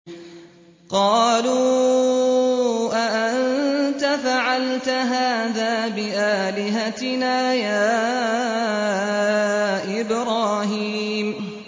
قَالُوا أَأَنتَ فَعَلْتَ هَٰذَا بِآلِهَتِنَا يَا إِبْرَاهِيمُ